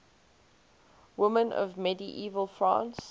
women of medieval france